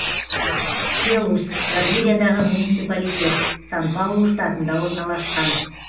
келус бразилиядағы муниципалитет сан паулу штатында орналасқан